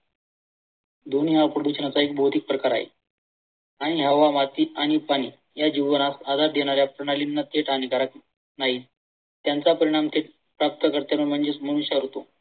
ध्वनी हा प्रदूषणाचा एक प्रकार आहे आणि हवा, आणि पाणी या जीवनात हवा देणाऱ्या प्रणालींना तेच हानिकारक नाही. त्यांचा परिणाम ते प्राप्त कर्त्यांना म्हणजेच मनुष्यावर येतो.